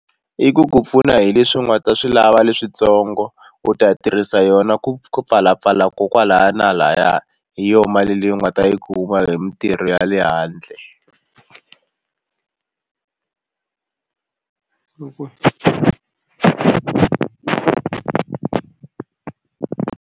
I ku ku pfuna hi leswi u nga ta swi lava leswintsongo u ta tirhisa yona ku pfalapfala ko kwalaya na lahaya hi yona mali leyi u nga ta yi kuma hi mintirho ya le handle .